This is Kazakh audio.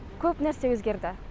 көп нәрсе өзгерді